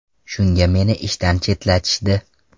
Shunga meni ishdan chetlatishdi.